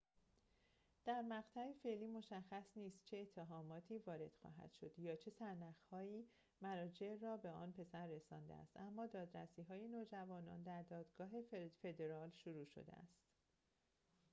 در مقطع فعلی مشخص نیست چه اتهاماتی وارد خواهد شد یا چه سرنخ‌هایی مراجع را به آن پسر رسانده است اما دادرسی‌های نوجوانان در دادگاه فدرال شروع شده است